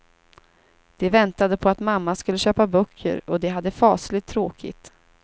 De väntade på att mamma skulle köpa böcker och de hade fasligt tråkigt.